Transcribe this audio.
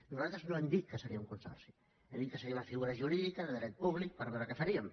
nosaltres no hem dit que seria un consorci hem dit que seria una figura jurídica de dret públic per veure què faríem